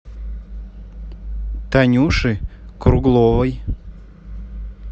танюши кругловой